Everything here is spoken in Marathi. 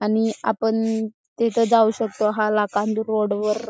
आणि आपण तिथ जाऊ शकतो हा रोड वर--